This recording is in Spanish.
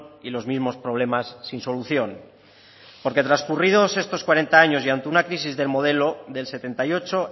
y los mismos problemas sin solución porque transcurridos estos cuarenta años y ante una crisis del modelo del setenta y ocho